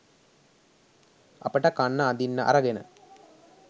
අපට කන්න අඳින්න අරගෙන